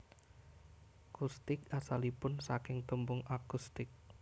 Coustic asalipun saking tembung acoustic